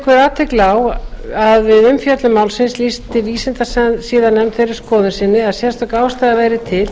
vekur athygli á að við umfjöllun málsins lýsti vísindasiðanefnd þeirri skoðun sinni að sérstök ástæða væri til